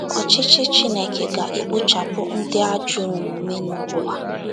Ọchịchị Chineke ga - ekpochapụ ndị ajọ omume n’ụwa.